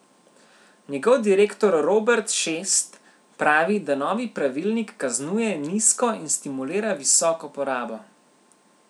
Njegov direktor Robert Šest pravi, da novi pravilnik kaznuje nizko in stimulira visoko porabo.